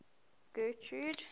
getrude